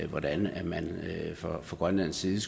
hvordan man fra grønlands side